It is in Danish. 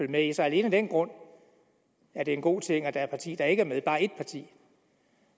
med i så alene af den grund er det en god ting at der et parti der ikke er med